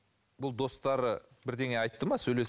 бұл достары бірдеңе айтты ма